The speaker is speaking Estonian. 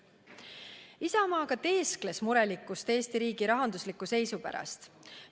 Isamaa aga teeskles murelikkust Eesti riigi rahandusliku seisu pärast.